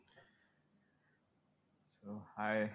Hi